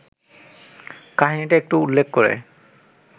কাহিনিটা একটু উল্লেখ করে